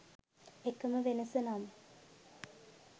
එකම වෙනස නම්